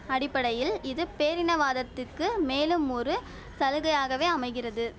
அடிப்படையில் இது பேரினவாதத்துக்கு மேலும் ஒரு சலுகையாகவே அமைகிறது